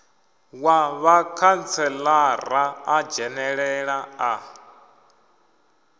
wa vhakhantselara a dzhenelela a